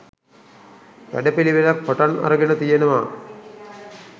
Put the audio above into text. වැඩපිළිවෙලක් පටන් අරගෙන තියෙනවා